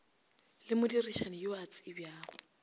le modirišani yo a tsebjago